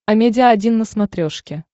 амедиа один на смотрешке